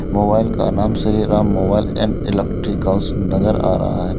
Mobile का नाम Shri Ram mobile and electricals नज़र आ रहा है।